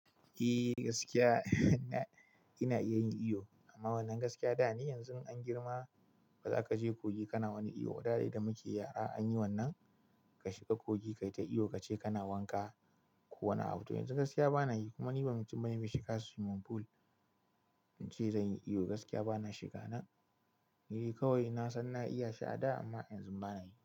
Eh gaskiya ina iya yin iyo amma wannan gaskiya da ne. Yanzu an girma, baza kaje kogi kana wani iyo da muke yara anyi wannan ka shiga kogi kai ta iyo kace kana wanka. Ko wani abu to yanzu gaskiya bana yi kuma ni ban ci ban yace shiga swimming pool in ce zan yi iyo gaskiya bana shiga. Na yi kawai na san na iya shi a da amma yanzu bana yi.